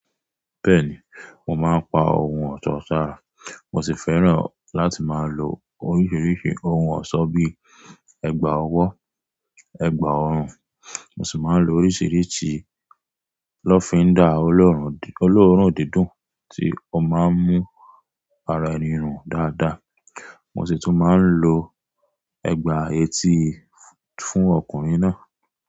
Bẹ́ẹ̀ni, mo máa ń pa ohun ọ̀tọ̀ táà. Mo sì fẹ́ràn láti máa lo oríṣiríṣi ohun ọ̀ṣọ́ bíí ẹgba ọwọ́, ẹgba ọrùn. Mo sì máa ń lo oríṣiríṣi lọ́findà oloorun, oloorun dídùn tí ó máa ń mú ara ẹni run dáadáa. Mo sì tún máa ń lo ẹgba etí fún ọkùnrin náà.